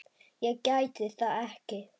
Ég gæti það ekki.